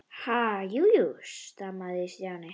Ha- jú, jú stamaði Stjáni.